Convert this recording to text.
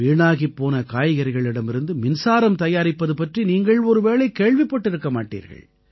வீணாகிப் போன காய்கறிகளிடமிருந்து மின்சாரம் தயாரிப்பது பற்றி நீங்கள் ஒருவேளை கேள்விப்பட்டிருக்க மாட்டீர்கள்